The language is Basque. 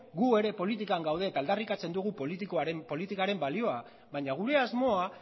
gu ere politikan gaude eta aldarrikatzen dugu politikaren balioa baina gure asmoa